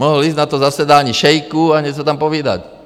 Mohl jít na to zasedání šejků a něco tam povídat.